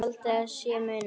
Haldið að sé munur!